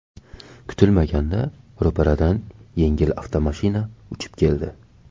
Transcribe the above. Kutilmaganda ro‘paradan yengil avtomashina uchib keldi.